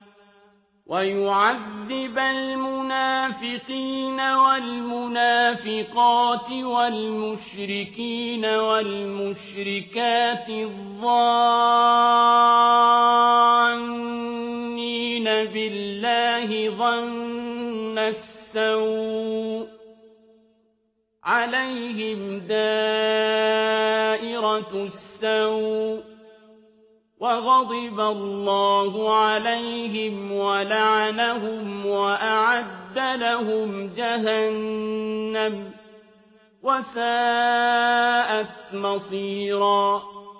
وَيُعَذِّبَ الْمُنَافِقِينَ وَالْمُنَافِقَاتِ وَالْمُشْرِكِينَ وَالْمُشْرِكَاتِ الظَّانِّينَ بِاللَّهِ ظَنَّ السَّوْءِ ۚ عَلَيْهِمْ دَائِرَةُ السَّوْءِ ۖ وَغَضِبَ اللَّهُ عَلَيْهِمْ وَلَعَنَهُمْ وَأَعَدَّ لَهُمْ جَهَنَّمَ ۖ وَسَاءَتْ مَصِيرًا